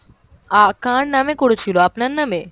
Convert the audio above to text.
আ কার নামে করেছিল, আপনার নামে?